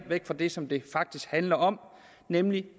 væk fra det som det faktisk handler om nemlig